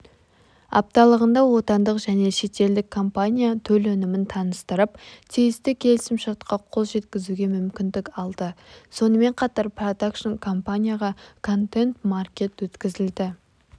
апталығында отандық және шетелдік компания төл өнімін таныстырып тиісті келісім-шартқа қол жеткізуге мүмкіндік алды сонымен қатар продакшн компанияға контент-маркет өткізілді